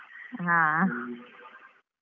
ಹ .